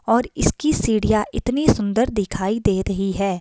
और इसकी सीढ़ियाँ इतनी सुंदर दिखाई दे रही है।